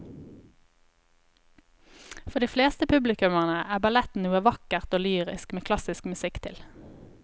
For de fleste publikummere er ballett noe vakkert og lyrisk med klassisk musikk til.